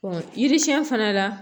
yiri siɲɛn fana la